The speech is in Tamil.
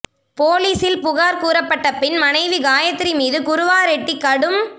போலீசில் புகார் கூறப்பட்ட பின் மனைவி காயத்ரி மீது குருவாரெட்டி கடும்